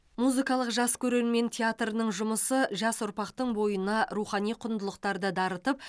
музыкалық жас көрермен театрының жұмысы жас ұрпақтың бойына рухани құндылықтарды дарытып